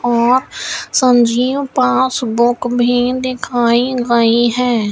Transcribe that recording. और सब्जियां पास बुक भी दिखाई गई है।